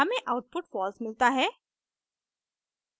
हमें output false मिलता है